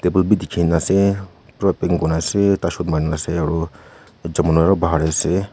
table bhi dekhi kina ase pura paint Kora ase tar osor manu ase aru ekjont manu aru bahar te ase.